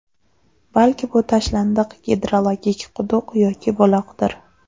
Balki bu tashlandiq gidrologik quduq yoki buloqdir.